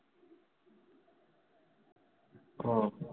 ও